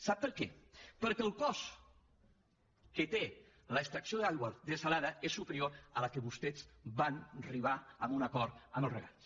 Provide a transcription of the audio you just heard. sap per què perquè el cost que té l’extracció d’aigua dessalada és superior a aquell al qual vostès van arribar en un acord amb els regants